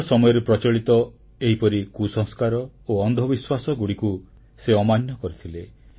ନିଜ ସମୟରେ ପ୍ରଚଳିତ ଏହିପରି କୁସଂସ୍କାର ଓ ଅନ୍ଧବିଶ୍ୱାସଗୁଡ଼ିକୁ ସେ ଅମାନ୍ୟ କରିଥିଲେ